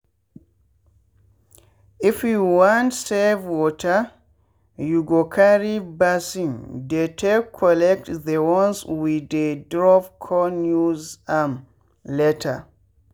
if you want save wateryou go carry basin dey take collect the ones wey dey dropcon use am later.